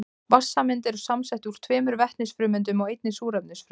Vatnssameind eru samsett úr tveimur vetnisfrumeindum og einni súrefnisfrumeind.